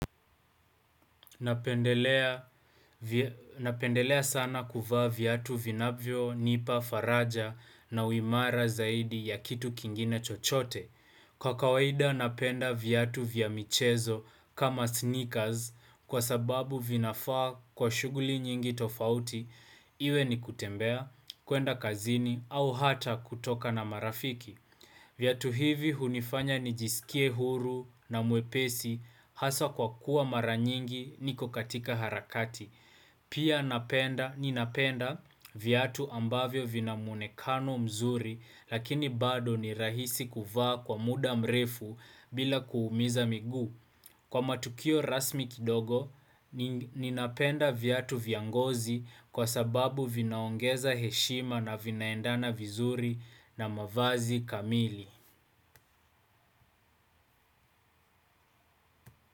Napendelea sana kuvaa viatu vinavyonipa faraja na uimara zaidi ya kitu kingine chochote. Kwa kawaida napenda viatu vya michezo kama sneakers kwa sababu vinafaa kwa shughuli nyingi tofauti iwe ni kutembea kuenda kazini au hata kutoka na marafiki. Viatu hivi hunifanya nijisikie huru na mwepesi hasa kwa kuwa maranyingi niko katika harakati. Pia ninapenda viatu ambavyo vina mwonekano mzuri lakini bado ni rahisi kuvaa kwa muda mrefu bila kuumiza migu. Kwa matukio rasmi kidogo, ninapenda viatu vya ngozi kwa sababu vinaongeza heshima na vinaendana vizuri na mavazi kamili.